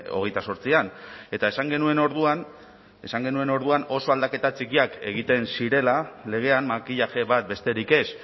hogeita zortzian eta esan genuen orduan esan genuen orduan oso aldaketa txikiak egiten zirela legean makillaje bat besterik ez